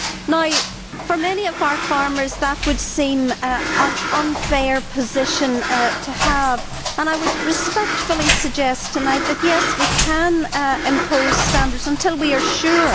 Now, for many of our farmers, that would seem an unfair position to have, and I would respectfully suggest tonight that, yes, we can impose standards until we are sure.